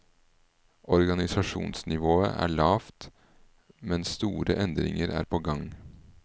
Organisasjonsnivået er lavt, men store endringer er på gang.